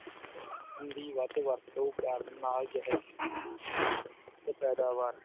ਦੀ ਵਰਤੋਂ ਕਰਨ ਨਾਲ ਜਹਿਰੀਲੇ ਧੂੰਏ ਦਾ ਤੇ ਪੈਦਾਵਾਰ।